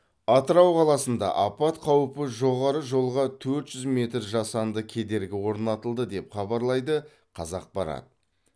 атырау қаласында апат қаупі жоғары жолға төрт жүз метр жасанды кедергі орнатылды деп хабарлайды қазақпарат